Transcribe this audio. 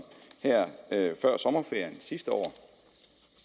her før sommerferien sidste år at